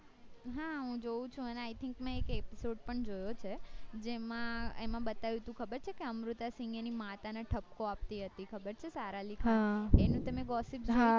હા હું જોઉં છુ અને i think મેં એક episode પણ જોયો છે જેમાં એમાં બતાવ્યું હતું ખબર છે કે અમૃતા સિંહ એની માતા ને ઠ્બકો આપતી હતી ખબર છે સારા અલી ખાનએની તમે gossip સાંભળી હતી